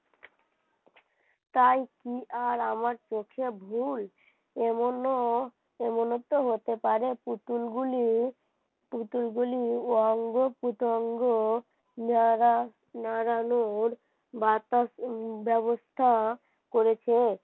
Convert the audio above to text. পুতুলগুলির অঙ্গ-প্রত্যঙ্গ যারা নারানোর ব্যবস্থা করেছে